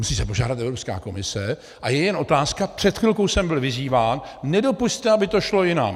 Musí se požádat Evropská komise a je jen otázka - před chvilkou jsem byl vyzýván, nedopusťte, aby to šlo jinam.